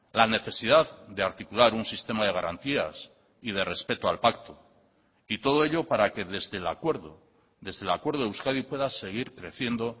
la necesidad de articular un sistema de garantías y de respeto al pacto y todo ello para que desde el acuerdo desde el acuerdo euskadi pueda seguir creciendo